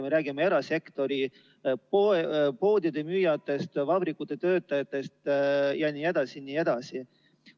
Me räägime erasektorist, poemüüjatest, vabrikutöötajatest jne.